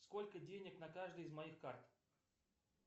сколько денег на каждой из моих карт